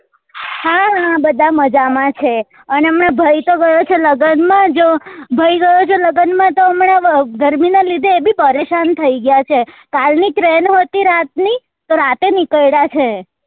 હા હા બધા મજામાં છે અને હમણાં ભાઈ તો ગયો છે લગન માં જો ભાઈ ગયો છે લગન માં તો હમણાં ગરમી ના લીધે એ બી પરેશાન થઇ ગયા છે કાલ ની train હતી રાત ની તો રાતે નીકળ્યા છે